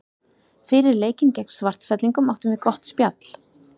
Fyrir leikinn gegn Svartfellingum áttum við gott spjall.